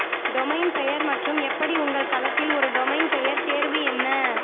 domain பெயர் மற்றும் எப்படி உங்கள் தளத்தில் ஒரு டொமைன் பெயர் தேர்வு என்ன